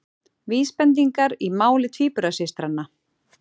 Vísbendingar í máli tvíburasystranna